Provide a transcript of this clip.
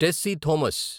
Tessy Thomas